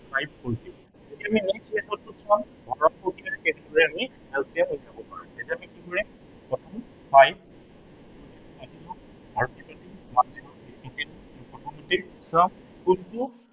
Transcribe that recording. five forty এতিয়া আমি HCF one forty টো এতিয়া আমি কি কৰিম, প্ৰথম five আৰু কি কৰিম multiple from কোনটো five